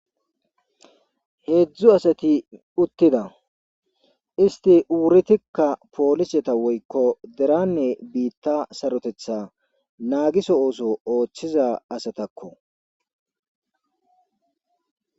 heedzdzu asati uttida isti wuritikka pooliseta woykko deranne biitta sarotetha naagiso oththiza asatakko